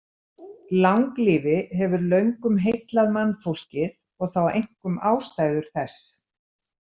Langlífi hefur löngum heillað mannfólkið og þá einkum ástæður þess.